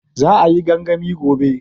Za a yi gangami gobe